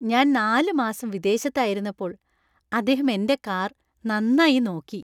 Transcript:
ഞാൻ നാല് മാസം വിദേശത്തായിരുന്നപ്പോൾ അദ്ദേഹം എന്‍റെ കാർ നന്നായി നോക്കി.